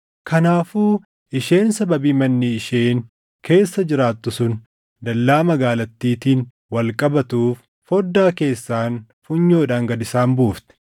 Kanaafuu isheen sababii manni isheen keessa jiraattu sun dallaa magaalattiitiin wal qabatuuf foddaa keessaan funyoodhaan gad isaan buufte.